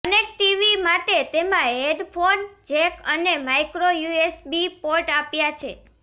connectivity માટે તેમાં headphone jack અને માઇક્રો યુએસબી પોર્ટ આપ્યા છે